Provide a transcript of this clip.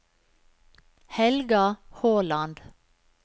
Helga Håland